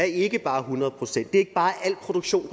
ikke bare er hundrede procent er ikke bare al produktion